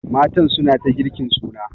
Matan suna ta girkin suna.